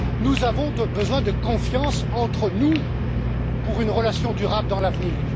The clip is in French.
Nous avons besoin de confiance entre nous pour une relation durable dans l'avenir.